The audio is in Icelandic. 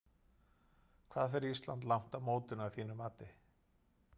Hvað fer Ísland langt á mótinu að þínu mati?